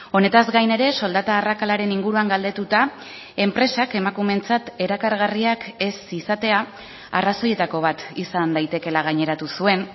honetaz gain ere soldata arrakalaren inguruan galdetuta enpresak emakumeentzat erakargarriak ez izatea arrazoietako bat izan daitekeela gaineratu zuen